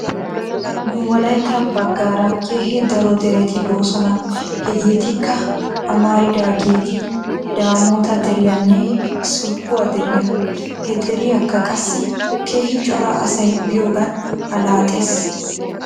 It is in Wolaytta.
Nu wolaytta bagaara keehi daro derti doosona hegeetikka amaridaageeti daamoota deriyaanne solkkuwaa deriyaa. He deriyaakka qassi keehi cora asay biyoogan allaxxes.